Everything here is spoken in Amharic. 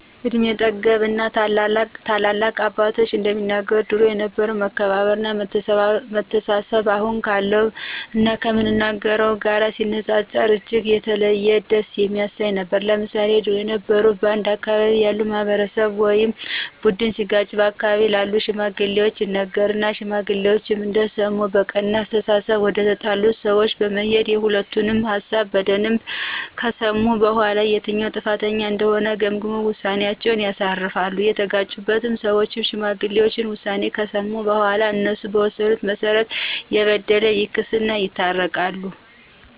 እድሜ ጠገብ እና ታላላቅ አባቶቻችን እንደሚነግሩን ድሮ የነበረው መከባበር እና መተሳሰብ አሁን ካለው እና ከምናየው ጋር ሲነጻጸር እጅግ የተለየ ደስ የሚያሰኝ ነበር። ለምሳሌ ድሮ የበረው በአንድ አካባቢ ያለ ማህበረሰብ ወይም ቡድን ሲጋጭ በአካባቢው ላሉ ሽማግሌዎች ይነገራሉ ሽማግሌዎችም እንደሰሙ በቀና አስተሳሰብ ወደተጣሉት ሰወች በመሄድና የሁለቱንም ሀሳብ በደንብ ከሰሙ በኋላ የትኛው ጥፋተኛ እንደሆነ ገምግመው ውሳኔአቸውን ያሳርፋሉ፤ የተጋጩት ሰዎችም የሽማግሌዎችን ውሳኔ ከሰሙ በኋላ እነሱ በወሰኑት መሰረት የበደለ ክሶ ይታረቃሉ።